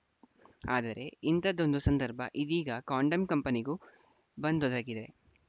ಆದರೆ ಇಂಥದ್ದೊಂದು ಸಂದರ್ಭ ಇದೀಗ ಕಾಂಡೋಮ್‌ ಕಂಪನಿಗೂ ಬಂದೊದಗಿದೆ